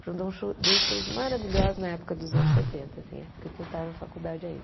Pronto, um show dois shows maravilhosos na época dos anos setenta, época que eu estava na faculdade ainda.